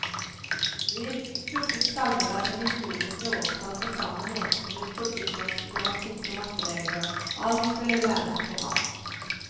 Vi pugget salmevers og historiske årstall på samme måte som vi pugget norsk gramatikk og matteregler, alt skulle læres på rams.